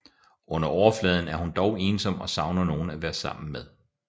Under overfladen er hun dog ensom og savner nogen at være sammen med